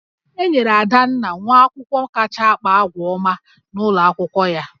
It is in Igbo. E nyere Adanna nwa akwụkwọ kacha akpa àgwà ọma n'ụlọ akwụkwọ ya